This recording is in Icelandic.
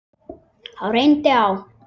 Þá reyndi á.